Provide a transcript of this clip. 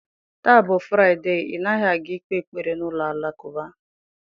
Taa bụ Fraịde, ị naghị aga ikpe ekpere n'ụlọ alakụba?